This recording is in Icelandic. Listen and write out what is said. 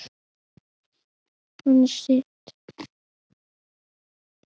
Hann sitt.